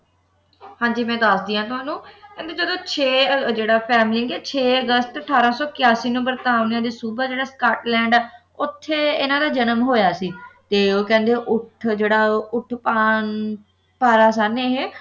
ਹਾਂ ਜੀ ਮੈਂ ਦੱਸਦੀ ਹਾਂ ਤੁਹਾਨੂੰ ਕਹਿੰਦੇ ਜਦੋਂ ਛੇ ਜਿਹੜਾ ਫੇਮਲਿੰਗ ਹੈ ਛੇ ਅਗਸਤ ਅਠਾਰਾਂ ਸੌ ਇਕੀਆਸੀ ਬ੍ਰਤਾਨੀਆ ਦਾ ਸੂਬਾ ਜਿਹੜਾ ਸਕਾਟਲੈਂਡ ਹੈ ਉੱਥੇ ਇਨ੍ਹਾਂ ਦਾ ਜਨਮ ਹੋਇਆ ਸੀ ਤੇ ਉਹ ਕਹਿੰਦੇ ਉੱਠ ਜਿਹੜਾ ਉੱਠਕਾਂਵ ਪਾਇਆ ਸਭਨੇ ਇਹ